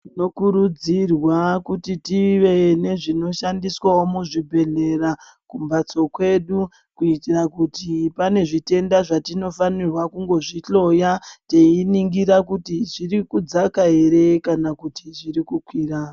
Tinokurudzirwa kuti tive nezvinoshandiswawo muzvhibhedhlera kumbhatso kwedu, kuitira kuti pane zvitenda zvetinofanirwa kungozvihloya teiningira kuti zviri kudzaka ere kana kuti zviri kukwira.